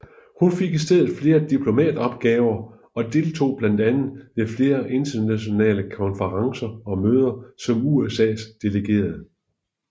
Hun fik i stedet flere diplomatopgaver og deltog blandt andet ved flere internationale konferencer og møder som USAs delegerede